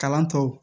Kalan tɔw